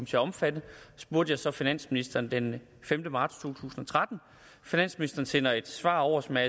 til at omfatte spurgte jeg så finansministeren den femte marts to tusind og tretten finansministeren sender et svar over som er